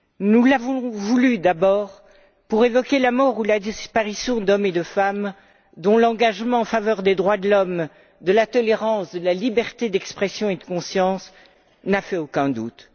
Nous l'avons voulue d'abord pour évoquer la mort ou la disparition d'hommes et de femmes dont l'engagement en faveur des droits de l'homme, de la tolérance et de la liberté d'expression et de conscience n'a fait aucun doute.